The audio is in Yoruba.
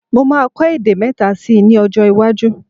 Mo máa kọ èdè mẹ́ta síi ní ọjọ́-iwájú.